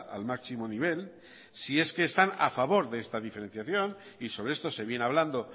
al máximo nivel si es que están a favor de esta diferenciación y sobre esto se viene hablando